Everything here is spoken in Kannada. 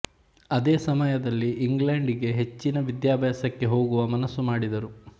ಅದೇ ಸಮಯದಲ್ಲಿ ಇಂಗ್ಲೆಂಡ್ ಗೆ ಹೆಚ್ಚಿನ ವಿದ್ಯಾಭ್ಯಾಸಕ್ಕೆ ಹೋಗುವ ಮನಸ್ಸುಮಾಡಿದರು